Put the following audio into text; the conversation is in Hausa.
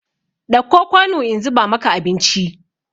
Ɗauko kwanu in zuba maka abinci!